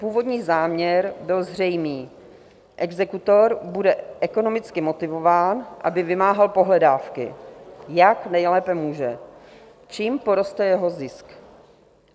Původní záměr byl zřejmý - exekutor bude ekonomicky motivován, aby vymáhal pohledávky, jak nejlépe může, čímž poroste jeho zisk.